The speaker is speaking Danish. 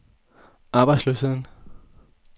arbejdsløsheden